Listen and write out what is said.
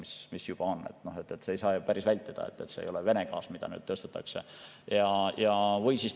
Seda ei saa päris, et see ei ole Vene gaas, mida me.